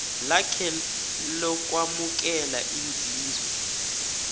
lakhe lokwamukela inzuzo